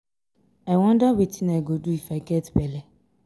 i wonder wetin i go do if i get bele.